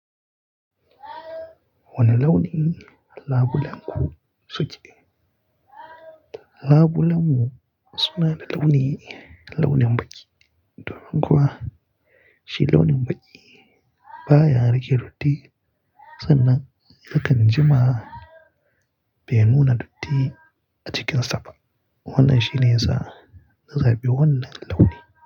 Wane launi labulenku suke? Labulenmu suna da launi, launin baƙi. Domin kuwa shi launin baƙi baya rage datti sannan yakan ji ma bai nuna datti a cikin safa. Wannan shine yasa na zabi wannan launi.